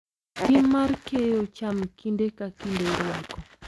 Tim mar keyo cham kinde ka kinde irwako .